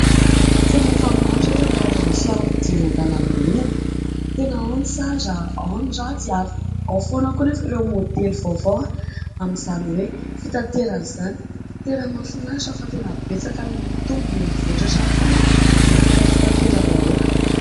Tena efa maro ry ireto ny karazana fiarakodia eny an-dalambe eny. Tena ao ny tsara, ao ny ratsy ary ao foana koa anefa ireo maodely vaovao amin'izany hoe"fitaterana" izany. Tena mahafinaritra fa tena betsaka ary mihamitombo, mihamivoatra hatrany foana ny resaka fitateram-bahoaka.